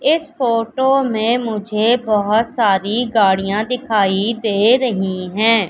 इस फोटो में मुझे बहोत सारी गाड़ियां दिखाई दे रही है।